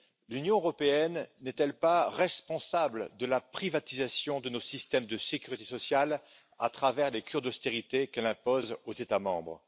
L'Union européenne n'est elle pas responsable de la privatisation de nos systèmes de sécurité sociale à travers les cures d'austérité qu'elle impose aux États membres?